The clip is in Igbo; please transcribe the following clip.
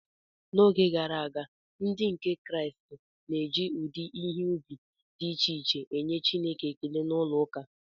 N’oge gara aga, Ndị nke Kraịst na-eji ụdị ihe ubi dị iche iche enye Chineke ekele n’ụlọụka